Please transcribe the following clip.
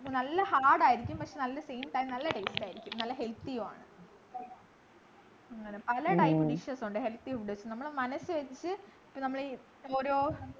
നല്ല hard ആയിരിക്കും പക്ഷെ നല്ല same time നല്ല taste ആയിരിക്കും നല്ല healthy യുമാണ് അങ്ങനെ പല type dishes ഉണ്ട് health യുണ്ട് നമ്മള് മനസ്സ് വച്ചിട്ട് നമ്മൾ ഈ ഓരോ